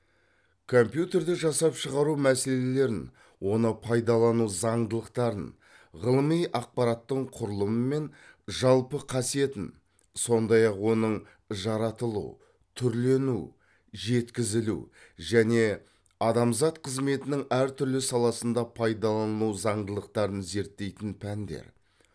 компьютерді жасап шығару мәселелерін оны пайдалану зандылықтарын ғылыми ақпараттың құрылымы мен жалпы қасиетін сондай ақ оның жаратылу түрлену жеткізілу және адамзат қызметінің әр түрлі саласында пайдалану заңдылықтарын зерттейтін пәндер